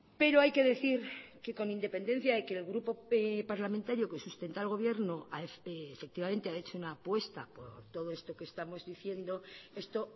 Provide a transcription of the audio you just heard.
pero hay que decir que con independencia de que el grupo parlamentario que sustenta el gobierno efectivamente ha hecho una apuesta por todo esto que estamos diciendo esto